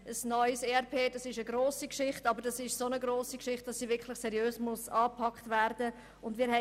Ein neues ERP ist eine grosse Sache, die seriös angepackt werden muss.